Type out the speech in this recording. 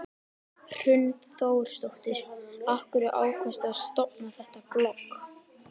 Hrund Þórsdóttir: Af hverju ákvaðstu að stofna þetta blogg?